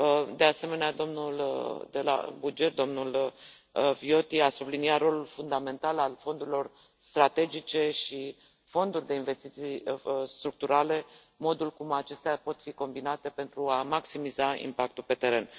De asemenea, domnul de la buget, domnul Viotti a subliniat rolul fundamental al fondurilor strategice și fonduri de investiții structurale, modul cum acestea pot fi combinate pentru a maximiza impactul pe teren.